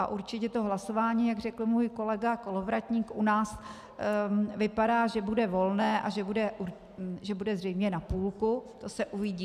A určitě to hlasování, jak řekl můj kolega Kolovratník, u nás vypadá, že bude volné a že bude zřejmě na půlku, to se uvidí.